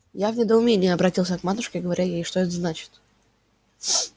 я в недоумении оборотился к матушке говоря ей что это значит